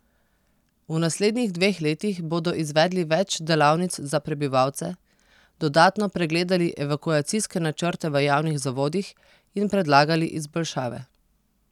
V naslednjih dveh letih bodo izvedli več delavnic za prebivalce, dodatno pregledali evakuacijske načrte v javnih zavodih in predlagali izboljšave.